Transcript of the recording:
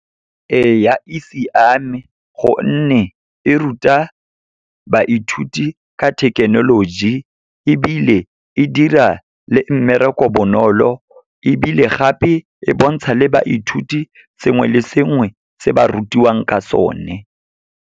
Ee a e siame, gonne e ruta baithuti ka thekenoloji, ebile e dira le mmereko bonolo. Ebile gape, e bontsha le baithuti sengwe le sengwe se ba rutiwang ka sone.